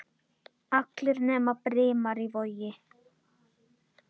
Allir nema Brimar í Vogi.